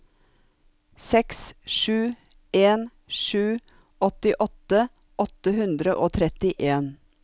seks sju en sju åttiåtte åtte hundre og trettien